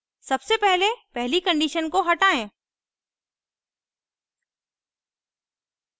सबसे पहले पहली condition को हटायें